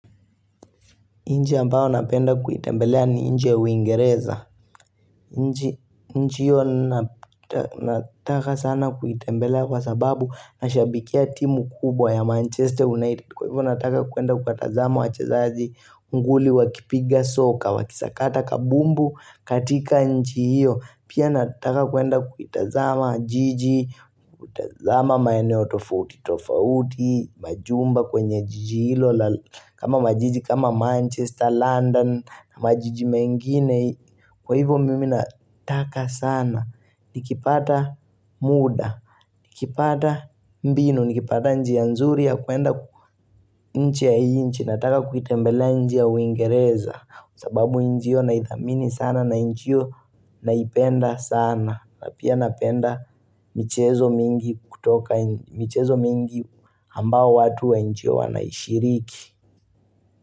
Nchi ambao napenda kuitembelea ni nchi ya uingereza. Nchi hio nataka sana kuitembelea kwa sababu nashabikia timu kubwa ya Manchester United. Kwa hivyo nataka kuenda kuwatazama wachezaji, unguli, wakipiga, soka, wakisakata, kabumbu, katika nchi hiyo. Pia nataka kuenda kukitazama jiji, kuitazama maeneo tofauti tofauti, majumba kwenye jiji hilo kama majiji kama Manchester, London, majiji mengine Kwa hivyo mimi nataka sana, nikipata muda, nikipata mbinu, nikipata njia nzuri ya kuenda nchi ya nje Nataka kuitembelea nchi ya uingereza sababu nchi hio naithamini sana na nchi hio naipenda sana na pia napenda michezo mingi kutoka michezo mingi ambao watu wa nchi hio wanaishiriki.